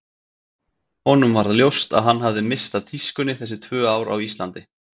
Honum varð ljóst að hann hafði misst af tískunni þessi tvö ár á Íslandi.